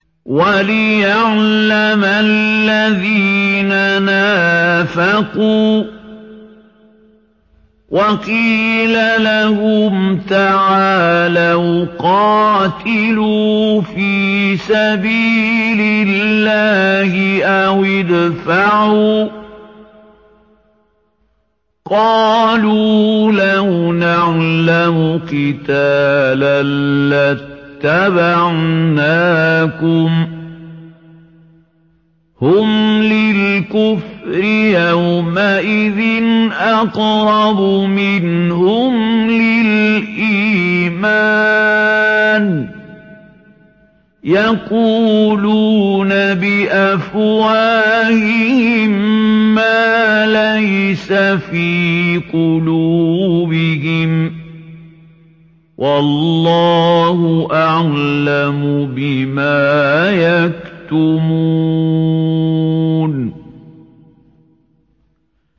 وَلِيَعْلَمَ الَّذِينَ نَافَقُوا ۚ وَقِيلَ لَهُمْ تَعَالَوْا قَاتِلُوا فِي سَبِيلِ اللَّهِ أَوِ ادْفَعُوا ۖ قَالُوا لَوْ نَعْلَمُ قِتَالًا لَّاتَّبَعْنَاكُمْ ۗ هُمْ لِلْكُفْرِ يَوْمَئِذٍ أَقْرَبُ مِنْهُمْ لِلْإِيمَانِ ۚ يَقُولُونَ بِأَفْوَاهِهِم مَّا لَيْسَ فِي قُلُوبِهِمْ ۗ وَاللَّهُ أَعْلَمُ بِمَا يَكْتُمُونَ